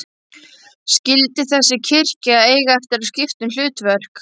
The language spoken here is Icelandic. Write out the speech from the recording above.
Skyldi þessi kirkja eiga eftir að skipta um hlutverk?